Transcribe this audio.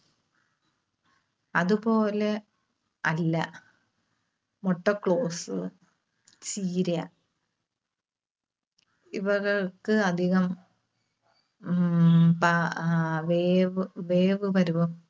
അതുപോലെ അല്ല മുട്ടക്ലോസ്, ചീര ഇവകൾക്ക് അധികം ഉം പ ആഹ് വേവ്, വേവ് പരുവം